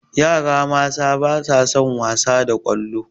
Yara mata ba sa son wasa da ƙwallo